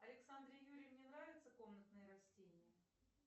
александре юрьевне нравятся комнатные растения